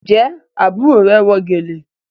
Njé àbúrò rẹ wọ gèlè?